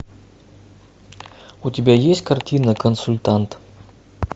у тебя есть картина консультант